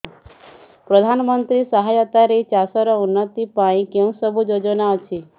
ପ୍ରଧାନମନ୍ତ୍ରୀ ସହାୟତା ରେ ଚାଷ ର ଉନ୍ନତି ପାଇଁ କେଉଁ ସବୁ ଯୋଜନା ଅଛି